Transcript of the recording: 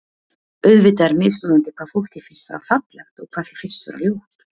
Auðvitað er mismunandi hvað fólki finnst vera fallegt og hvað því finnst ljótt.